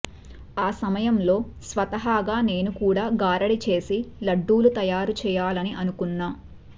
ఆ సమయంలో స్వతహాగా నేను కూడా గారడీ చేసి లడ్డూలు తయారు చేయాలని అనుకున్నా